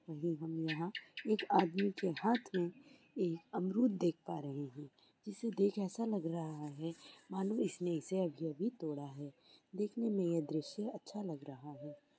हम यहा एक आदमी के हाथमे एक आमरूद देख पारहे हे जिसे देख ऐसा लाग राहा हे मालूम इसने इसे अभी अभी तोडा हे देखने मे यह दृश्य अच्छा लग राहा हे।